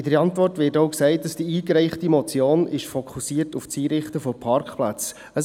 In der Antwort wird zudem gesagt, die eingereichte Motion sei auf das Einrichten von Parkplätzen fokussiert.